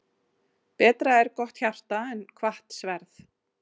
Betra er gott hjarta en hvatt sverð.